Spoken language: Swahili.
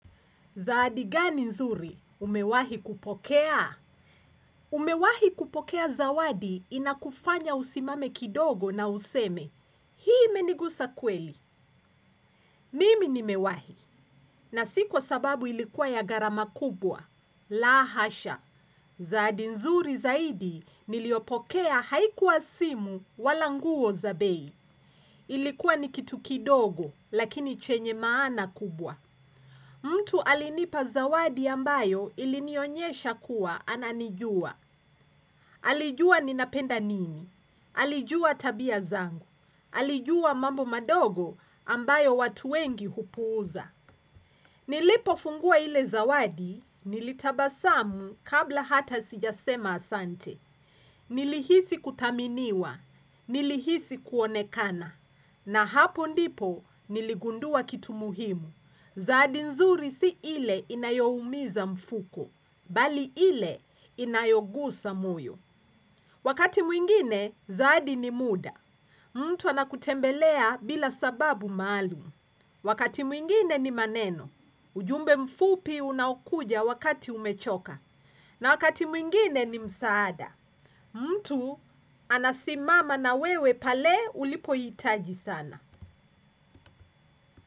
Zawadi gani nzuri umewahi kupokea? Umewahi kupokea zawadi inakufanya usimame kidogo na useme, hii imenigusa kweli. Mimi nimewahi, na sio kwa sababu ilikuwa ya gharama kubwa la hasha! Zawadi nzuri zaidi niliyopokea haikua simu wala nguo za bei ilikuwa ni kitu kidogo, lakini chenye maana kubwa. Mtu alinipa zawadi ambayo ilinionyesha kuwa ananijua, alijua ninapenda nini, alijua tabia zangu, alijua mambo madogo ambayo watu wengi hupuuza. Nilipofungua ile zawadi nilitabasamu kabla hata sijasema asante, nilihisi kuthaminiwa, nilihisi kuonekana, na hapo ndipo niligundua kitu muhimu zawadi nzuri si ile inayoumiza mfuko, bali ile inayogusa moyo. Wakati mwingine, zawadi ni muda. Mtu anakutembelea bila sababu maalum. Wakati mwingine ni maneno. Ujumbe mfupi unaokuja wakati umechoka. Na wakati mwingine ni msaada. Mtu anasimama na wewe pale ulipohitaji sana.